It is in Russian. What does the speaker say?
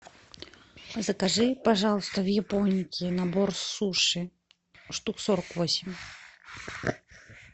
закажи пожалуйста в японике набор суши штук сорок восемь